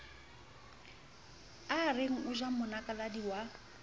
areng o ja monakaladi wa